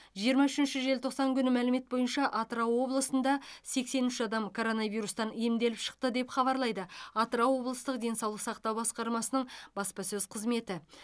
жиырма үшінші желтоқсан күні мәлімет бойынша атырау облысында сексен үш адам коронавирустан емделіп шықты деп хабарлайды атырау облыстық денсаулық сақтау басқармасының баспасөз қызметі